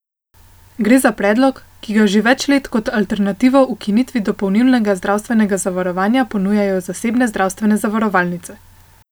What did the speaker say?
Gre za predlog, ki ga že več let kot alternativo ukinitvi dopolnilnega zavarovanja ponujajo zasebne zdravstvene zavarovalnice.